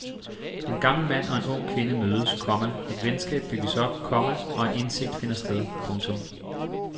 En gammel mand og en ung kvinde mødes, komma et venskab bygges op, komma og en indsigt finder sted. punktum